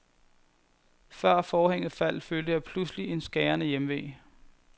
Før forhænget faldt, følte jeg pludselig en skærende hjemve.